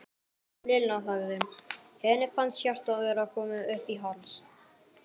Lilla þagði, henni fannst hjartað vera komið upp í háls.